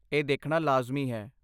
ਇਹ ਦੇਖਣਾ ਲਾਜ਼ਮੀ ਹੈ।